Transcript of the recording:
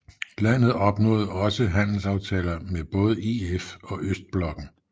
Landet opnåede også handelsaftaler med både EF og Østblokken